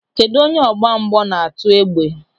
Kedụ onye ọgbamgbọ na-atụ égbè?